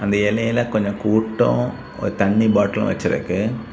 அந்த இலையில கொஞ்ச கூட்டும் ஒரு தண்ணி பாட்டிலும் வெச்சிருக்கு.